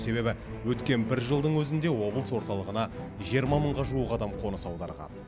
себебі өткен бір жылдың өзінде облыс орталығына жиырма мыңға жуық адам қоныс аударған